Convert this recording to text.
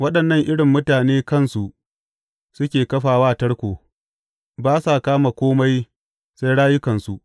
Waɗannan irin mutane kansu suke kafa wa tarko; ba sa kama kome, sai rayukansu!